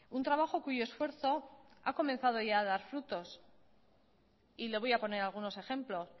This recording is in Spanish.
un trabajo cuyo esfuerzo ha comenzado ya a dar frutos y le voy a poner algunos ejemplos